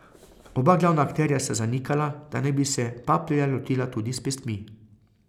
Oba glavna akterja sta zanikala, da naj bi se Paplerja lotila tudi s pestmi.